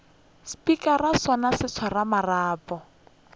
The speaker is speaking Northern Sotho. spikara sona se swara marapo